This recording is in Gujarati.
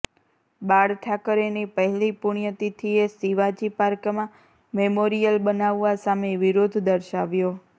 બાળ ઠાકરેની પહેલી પુણ્યતિથિએ શિવાજી પાર્કમાં મેમોરિયલ બનાવવા સામે વિરોધ દર્શાવ્યો